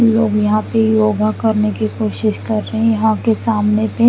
लोग यहा पे योगा करने की कोशिश कर रहे है यहा के आमने पे--